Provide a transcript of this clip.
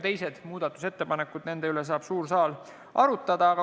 Teiste muudatusettepanekute üle saab suur saal veel arutada.